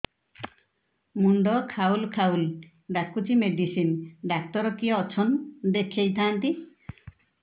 ମୁଣ୍ଡ ଖାଉଲ୍ ଖାଉଲ୍ ଡାକୁଚି ମେଡିସିନ ଡାକ୍ତର କିଏ ଅଛନ୍ ଦେଖେଇ ଥାନ୍ତି